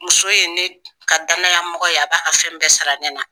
Muso ye ne ka danaya mɔgɔ ye a b'a ka fɛn bɛɛ sara ne na.